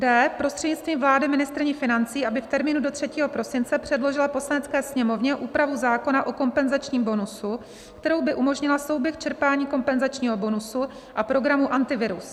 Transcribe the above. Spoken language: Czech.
d) prostřednictvím vlády ministryni financí, aby v termínu do 3. prosince předložila Poslanecké sněmovně úpravu zákona o kompenzačním bonusu, kterou by umožnila souběh čerpání kompenzačního bonusu a programu Antivirus.